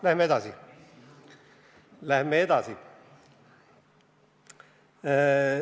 Lähme edasi!